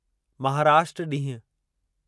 महाराष्ट्र ॾींहुं